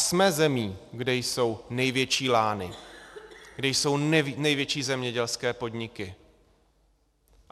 Jsme zemí, kde jsou největší lány, kde jsou největší zemědělské podniky.